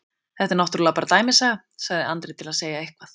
Þetta er náttúrlega bara dæmisaga, sagði Andri til að segja eitthvað.